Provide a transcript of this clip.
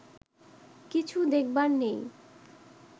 কিছু দেখবার নেই